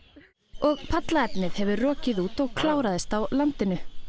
og hefur rokið út og kláraðist á landinu